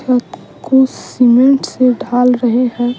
रेत को सीमेंट से डाल रहे हैं।